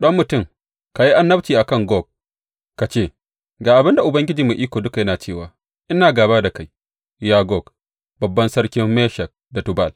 Ɗan mutum, ka yi annabci a kan Gog ka ce, Ga abin da Ubangiji Mai Iko Duka yana cewa ina gāba da kai, ya Gog, babban sarkin Meshek da Tubal.